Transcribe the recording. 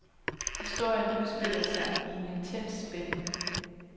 Historien udspiller sig i en intens spænding.